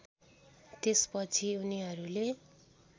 त्यसपछि उनीहरूले